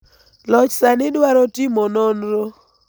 loch sani dwaro timo nonro